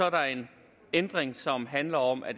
at der er en ændring som handler om at